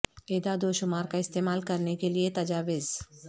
اعداد و شمار کا استعمال کرنے کے لئے تجاویز